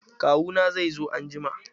Kawu na zai zo anjima.